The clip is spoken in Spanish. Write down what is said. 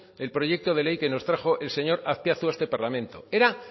del proyecto de ley que nos trajo el señor azpiazu a este parlamento era